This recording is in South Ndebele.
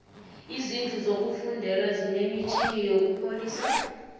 izindlu zokufundela zine mitjhini yokupholisa